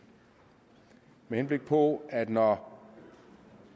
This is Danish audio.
med henblik på at når